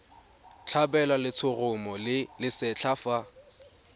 tlhabelwa letshoroma le lesetlha fa